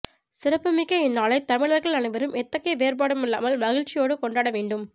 சிறப்புமிக்க இந்நாளை தமிழர்கள் அனைவரும் எத்தகைய வேறுபாடும் இல்லாமல் மகிழ்ச்சியோடு கொண்டாடவேண்டும்